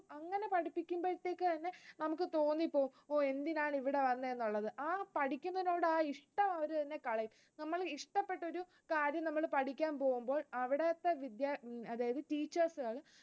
നമുക്ക് തോന്നിപ്പോവും ഓ എന്തിനാണ് ഇവിടെ വന്നെന്നുള്ളത്, ആ പഠിക്കുന്നതിനുള്ള ആ ഇഷ്ടം അവരു തന്നെ കളയും. നമ്മൾ ഇഷ്ടപ്പെട്ട ഒരു കാര്യം നമ്മൾ പഠിക്കാൻ പോകുമ്പോൾ അവിടത്തെ അതായത് teachers